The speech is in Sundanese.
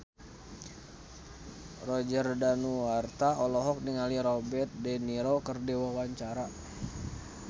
Roger Danuarta olohok ningali Robert de Niro keur diwawancara